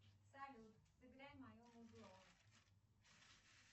салют сыграй мое музло